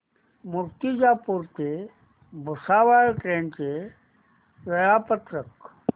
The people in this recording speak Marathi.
मूर्तिजापूर ते भुसावळ ट्रेन चे वेळापत्रक